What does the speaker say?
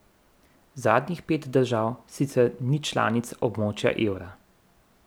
Zadnjih pet držav sicer ni članic območja evra.